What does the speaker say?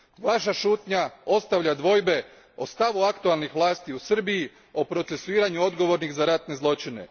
Vaša šutnja ostavlja dvojbe o stavu aktualnih vlasti u Srbiji o procesuiranju odgovornih za ratne zločine.